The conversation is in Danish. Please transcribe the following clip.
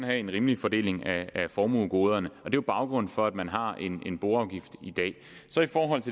have en rimelig fordeling af formuegoderne er jo baggrunden for at man har en boafgift